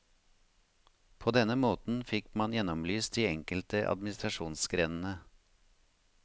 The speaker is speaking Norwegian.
På denne måten fikk man gjennomlyst de enkelte administrasjonsgrenene.